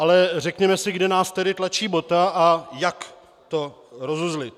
Ale řekněme si, kde nás tedy tlačí bota a jak to rozuzlit.